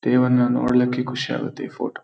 ದೇವ್ರನ್ನ ನೋಡ್ಲಿಕ್ಕೆ ಖುಷಿಯಾಗತ್ತೆ ಈ ಫೋಟೋ --